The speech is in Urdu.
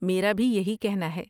میرا بھی یہی کہنا ہے۔